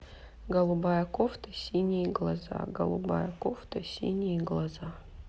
голубая кофта синие глаза голубая кофта синие глаза